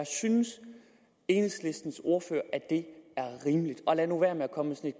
synes enhedslistens ordfører at det er rimeligt og lad nu være med at komme med